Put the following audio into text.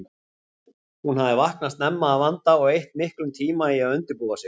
Hún hafði vaknað snemma að vanda og eytt miklum tíma í að undirbúa sig.